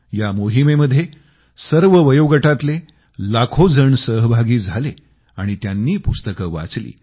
या मोहिमेमध्ये सर्व वयोगटातले लाखो जण सहभागी झाले आणि त्यांनी पुस्तकं वाचली